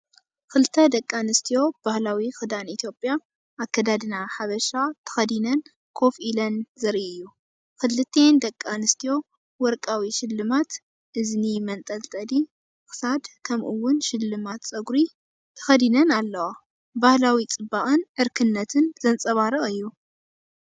ክልተ ደቂ ኣንስትዮ ባህላዊ ክዳን ኢትዮጵያ (ኣከዳድና ሓበሻ) ተኸዲነን ኮፍ ኢለን ዘርኢ እዩ። ክልቲአን ደቂ ኣንስትዮ ወርቃዊ ሽልማት (እዝኒ፡ መንጠልጠሊ ክሳድ፡ ከምኡ’ውን ሽልማት ጸጉሪ) ተኸዲነን ኣለዋ። ባህላዊ ጽባቐን ዕርክነትን ዘንጸባርቕ እዩ።